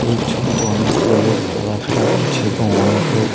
এই ছবিতে অনেকগুলো লোক চলাফেরা করছে এবং অনেক লোক--